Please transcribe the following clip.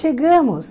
Chegamos.